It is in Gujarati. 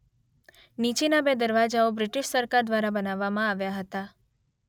નીચેનાં બે દરવાજાઓ બ્રિટિશ સરકાર દ્વારા બનાવવામાં આવ્યા હતા.